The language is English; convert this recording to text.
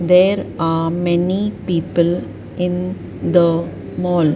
there are many people in the mall.